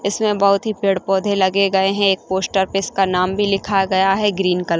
इसमे बहोत ही पेड़ पौधे लगे गए है एक पोस्टर इसका नाम भी लिखा गया है ग्रीन कलर --